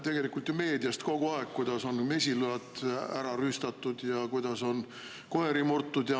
Me loeme ju meediast kogu aeg, kuidas on mesilaid rüüstatud ja kuidas on koeri murtud.